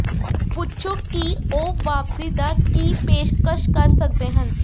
ਪੁੱਛੋ ਕਿ ਉਹ ਵਾਪਸੀ ਦਾ ਕੀ ਪੇਸ਼ਕਸ਼ ਕਰ ਸਕਦੇ ਹਨ